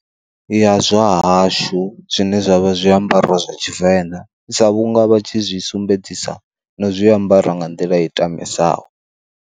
Ya zwa hashu zwine zwavha zwiambaro zwa tshivenḓa, sa vhunga vha tshi zwi sumbedzisa na zwiambara nga nḓila i tamisaho.